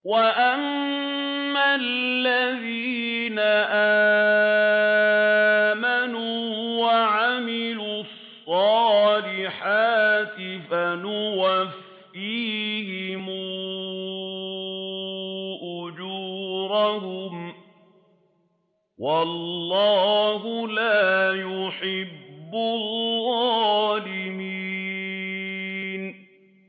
وَأَمَّا الَّذِينَ آمَنُوا وَعَمِلُوا الصَّالِحَاتِ فَيُوَفِّيهِمْ أُجُورَهُمْ ۗ وَاللَّهُ لَا يُحِبُّ الظَّالِمِينَ